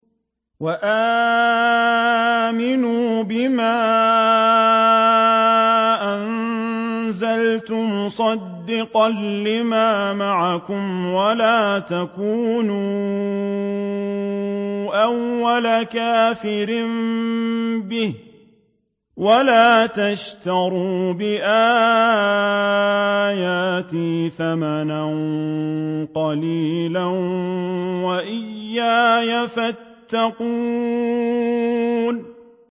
وَآمِنُوا بِمَا أَنزَلْتُ مُصَدِّقًا لِّمَا مَعَكُمْ وَلَا تَكُونُوا أَوَّلَ كَافِرٍ بِهِ ۖ وَلَا تَشْتَرُوا بِآيَاتِي ثَمَنًا قَلِيلًا وَإِيَّايَ فَاتَّقُونِ